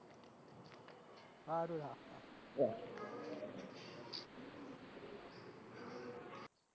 હારું હે.